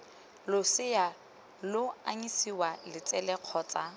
losea lo anyisiwa letsele kgotsa